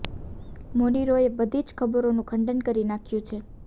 મોની રોય એ બધી જ ખબરોનું ખંડન કરી નાખ્યું છે